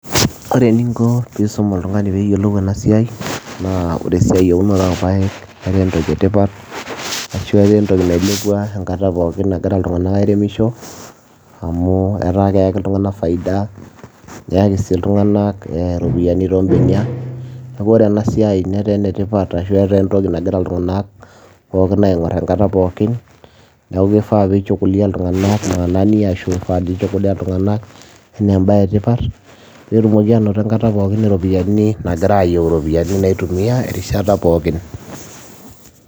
Ore eninko pisum oltung'ani peyiolou enasiai, naa ore esiai eunoto orpaek netaa entoki etipat, ashu etaa entoki nailepua enkata pookin nagira iltung'anak airemisho, amu etaa keeki iltung'anak faida, neaki si iltung'anak iropiyiani tobeniak, neeku ore enasiai netaa enetipat ashu etaa entoki nagira iltung'anak pookin aing'or enkata pookin, neeku kifaa pi chukulia iltung'anak enaa ebae etipat, petumoki anoto enkata pookin iropiyiani, nagira ayieu iropiyiani naitumia, erishata pookin.